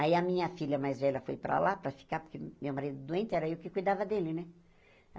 Aí a minha filha mais velha foi para lá para ficar, porque meu marido doente era eu que cuidava dele, né?